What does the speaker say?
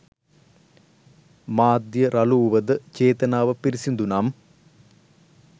මාධ්‍ය රළු වුවද චේතනාව පිරිසුදු නම්